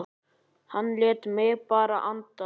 Hann lét mig bara anda.